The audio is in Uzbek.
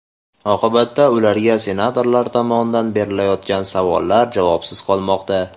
Oqibatda ularga senatorlar tomonidan berilayotgan savollar javobsiz qolmoqda.